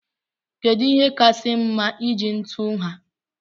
Kedụ ihe kasị mma iji tú nha?